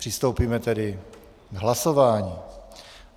Přistoupíme tedy k hlasování.